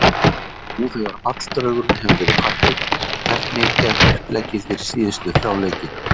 Nú þegar falldraugurinn hefur verið kvaddur, hvernig er uppleggið fyrir síðustu þrjá leikina?